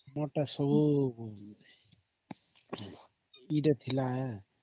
ଆମର ତ ସବୁ କି ଟା ଥିଲା ହିଁ